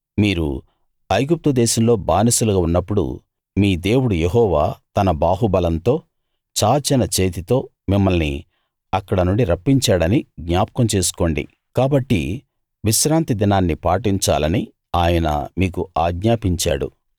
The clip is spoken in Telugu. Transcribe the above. మీరు ఐగుప్తు దేశంలో బానిసలుగా ఉన్నప్పుడు మీ దేవుడు యెహోవా తన బాహుబలంతో చాచిన చేతితో మిమ్మల్ని అక్కడ నుండి రప్పించాడని జ్ఞాపకం చేసుకోండి కాబట్టి విశ్రాంతి దినాన్ని పాటించాలని ఆయన మీకు ఆజ్ఞాపించాడు